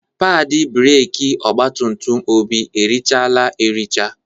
Padị breeki ọgbatumtum Obi erichaala ericha.